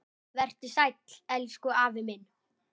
Vertu sæll, elsku afi minn.